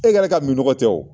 E ka min nɔgɔ tɛ o.